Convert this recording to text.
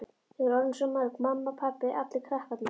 Þau voru orðin svo mörg, mamma, pabbi, allir krakkarnir og